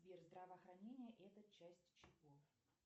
сбер здравоохранение это часть чего